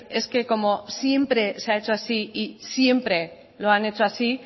es que como siempre se ha hecho así y siempre lo han hecho así